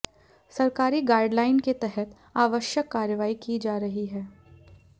सरकारी गाइडलाइन के तहत आवश्यक कार्रवाई की जा रही है